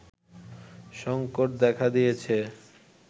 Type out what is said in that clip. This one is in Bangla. সংকট দেখা দিয়েছে